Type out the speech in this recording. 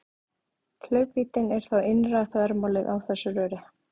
Hlaupvíddin er þá innra þvermálið á þessu röri.